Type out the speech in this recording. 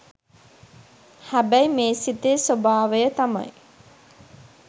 හැබැයි මේ සිතේ ස්වභාවය තමයි